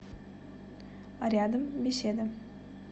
рядом беседа